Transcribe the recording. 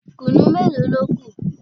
Kùnú mélòó ló kù?